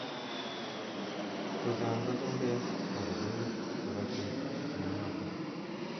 Chechang ko chumbek akobunu karotik mnyenotok.